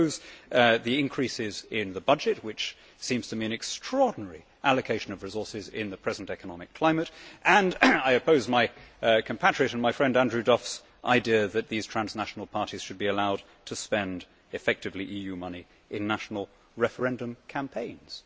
We oppose the increases in the budget which seems to me an extraordinary allocation of resources in the present economic climate and I oppose my compatriot and my friend Andrew Duff's idea that these transnational parties should be allowed to spend effectively EU money in national referendum campaigns.